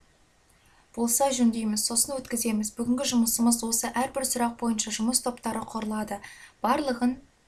болса жөндейміз сосын парламентке өткіземіз бүгінгі жұмысымыз осы әрбір сұрақ бойынша жұмыс топтары құрылады барлығын